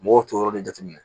Mɔgɔw t'o yɔrɔ de jateminɛ